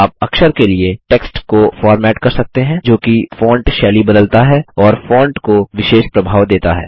आप अक्षर के लिए टेक्स्ट को फॉर्मेट कर सकते हैं जो कि फॉन्ट शैली बदलता है और फॉन्ट को विशेष प्रभाव देता है